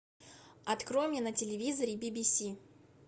открой мне на телевизоре бибиси